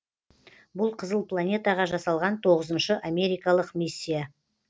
бұл қызыл планетаға жасалған тоғызыншы америкалық миссия